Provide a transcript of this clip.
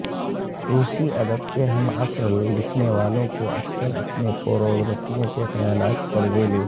روسی ادب کے ہم عصر لکھنے والوں کو اکثر اپنے پوروورتیوں کے خیالات قرضے لے